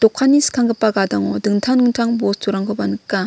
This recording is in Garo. skanggipa gadango dingtang dingtang bosturangkoba nika.